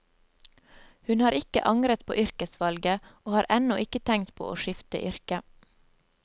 Hun har ikke angret på yrkesvalget, og har ennå ikke tenkt på å skifte yrke.